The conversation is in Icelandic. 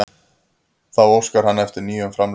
Þá óskar hann eftir nýjum framlögum